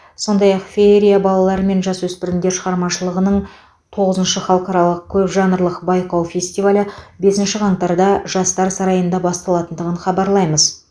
сондай ақ феерия балалар мен жасөспірімдер шығармашылығының тоғызыншы халықаралық көпжанрлық байқау фестивалі бісінші қаңтарда жастарсарайында басталатындығын хабарлаймыз